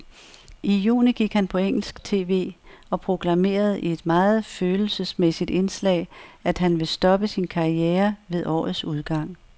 I juni gik han på engelsk tv og proklamerede i et meget følelsesmæssig indslag, at han vil stoppe sin karriere ved årets udgang.